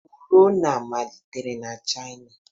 Corona malitere na China